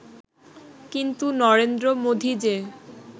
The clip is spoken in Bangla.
কিন্তু নরেন্দ্র মোদি যে